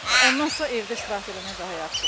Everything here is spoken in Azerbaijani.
Ondansa evdə istirahət eləmək daha yaxşıdır.